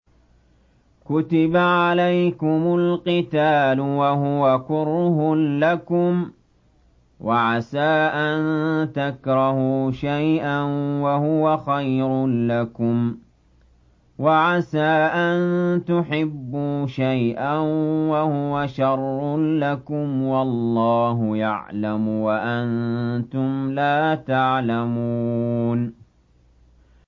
كُتِبَ عَلَيْكُمُ الْقِتَالُ وَهُوَ كُرْهٌ لَّكُمْ ۖ وَعَسَىٰ أَن تَكْرَهُوا شَيْئًا وَهُوَ خَيْرٌ لَّكُمْ ۖ وَعَسَىٰ أَن تُحِبُّوا شَيْئًا وَهُوَ شَرٌّ لَّكُمْ ۗ وَاللَّهُ يَعْلَمُ وَأَنتُمْ لَا تَعْلَمُونَ